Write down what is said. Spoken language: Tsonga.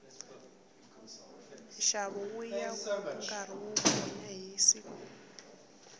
nxavo wuya wu karhi wu gonya hi siku